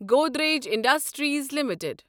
Godrej industries limited